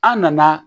An nana